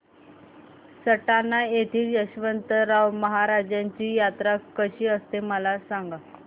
सटाणा येथील यशवंतराव महाराजांची यात्रा कशी असते मला सांग